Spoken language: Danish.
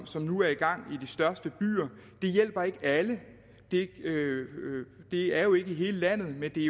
som nu er i gang i de største byer det hjælper ikke alle det er jo ikke i hele landet men det er